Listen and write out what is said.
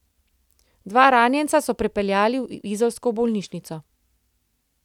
Dva ranjenca so prepeljali v izolsko bolnišnico.